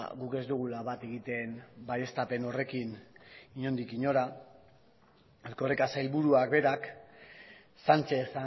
guk ez dugula bat egiten baieztapen horrekin inondik inora erkoreka sailburuak berak sánchez